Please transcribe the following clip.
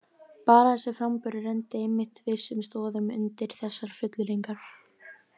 Bara þessi framburður renndi einmitt vissum stoðum undir þessar fullyrðingar.